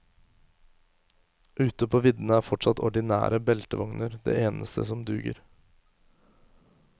Ute på viddene er fortsatt ordinære beltevogner det eneste som duger.